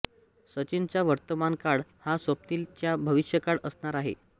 सचिनचा वर्तमानकाळ हा स्वप्निल चा भविष्यकाळ असणार आहे